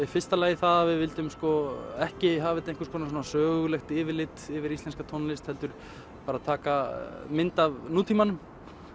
í fyrsta lagi það að við vildum ekki hafa þetta sögulegt yfirlit yfir íslenska tónlist heldur bara taka mynd af nútímanum